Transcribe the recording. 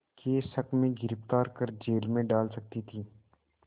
के शक में गिरफ़्तार कर जेल में डाल सकती थी